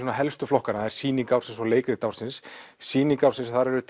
helstu flokkana það er sýning ársins og leikrit ársins sýning ársins þar eru